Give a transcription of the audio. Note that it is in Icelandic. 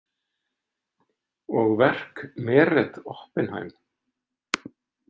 Og verk Meret Oppenheim.